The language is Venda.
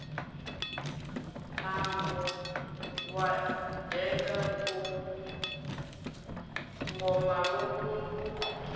mambo wa denga ngomalungundu yo